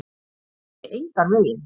Það dugi engan veginn.